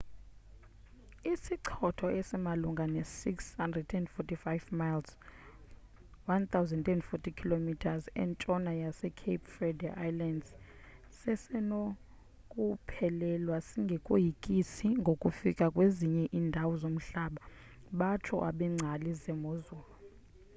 isichotho esimalunga ne 645 miles 1040 km e entshona ye-cape verde islands sesenokuphelelwa singekoyikisi ngokufika kwezinye indawo zomhlaba batsho abengcali zemozulu